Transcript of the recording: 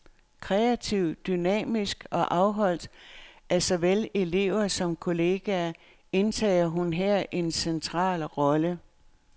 Kreativ, dynamisk og afholdt af såvel elever som kolleger, indtager hun her en central rolle.